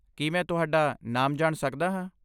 ਕੀ ਮੈਂ ਤੁਹਾਡਾ ਨਾਮ ਜਾਣ ਸਕਦਾ ਹਾਂ?